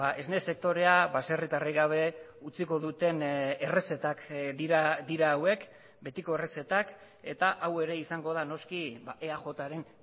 esne sektorea baserritarrik gabe utziko duten errezetak dira hauek betiko errezetak eta hau ere izango da noski eajren